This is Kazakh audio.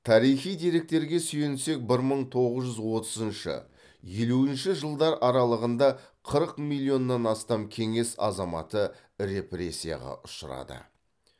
тарихи деректерге сүйенсек бір мың тоғыз жүз отызыншы елу үшінші жылдар аралығында қырық миллионнан астам кеңес азаматы репрессияға ұшырады